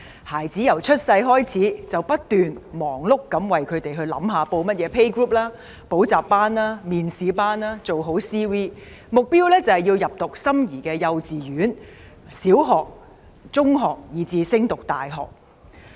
孩子出生後，家長便忙碌不斷地為子女報讀學前幼兒遊戲小組、補習班、面試班，做好 CV， 目標是入讀心儀的幼稚園、小學、中學，以至升讀大學。